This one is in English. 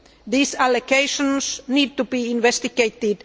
These allegations need to be investigated.